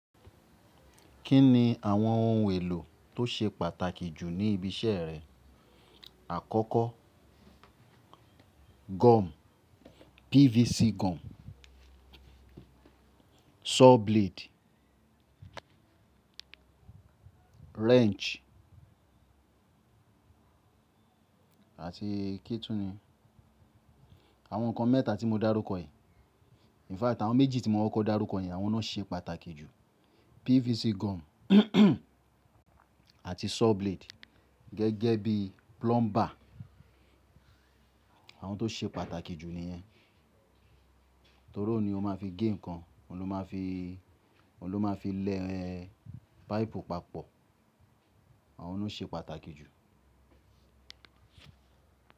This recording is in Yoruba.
Kí ni àwọn ohun èlò tó ṣe pàtàkì jù ní ibi iṣẹ́ rẹ? Àkọ́kọ́ gum, PVC gum, saw blade, wrench àti kí túni? Àwọn nǹkan mẹ́ta tí mo dárúkọ yìí. In fact àwọn méjì tí mo kokọ́ dárúkọ yen àwọn náà ṣe pàtàkì jù. PVC gum àti saw blade gẹ́gẹ́ bí plumber. Àwọn tó ṣe pàtàkì jù nìyẹn. Torí òun ni ó máa fi gé nǹkan, òun ló máa fi, òun ló máa fi lẹ páìpù papọ̀. Àwọn lo ṣe pàtàkì jù.